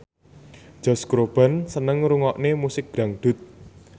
Josh Groban seneng ngrungokne musik dangdut